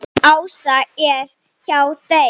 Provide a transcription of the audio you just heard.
Ása er hjá þeim.